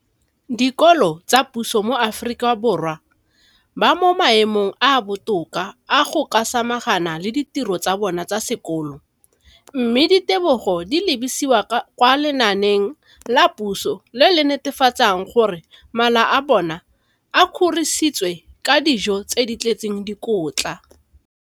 Dikolo tsa puso mo Aforika Borwa ba mo maemong a a botoka a go ka samagana le ditiro tsa bona tsa sekolo, mme ditebogo di lebisiwa kwa lenaaneng la puso le le netefatsang gore mala a bona a kgorisitswe ka dijo tse di tletseng dikotla.